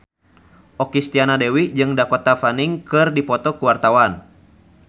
Okky Setiana Dewi jeung Dakota Fanning keur dipoto ku wartawan